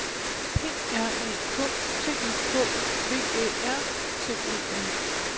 P R A K T I K V Æ R T E R